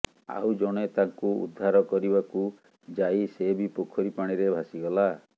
ଆଉ ଜଣେ ତାଙ୍କୁ ଉଦ୍ଧାର କରିବାକୁ ଯାଇ ସେ ବି ପୋଖରୀ ପାଣିରେ ଭାସିଗଲା